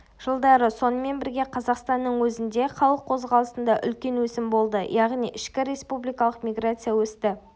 жылдары сонымен бірге қазақстанның өзінде халық қозғалысында үлкен өсім болды яғни ішкі республикалық миграция өсті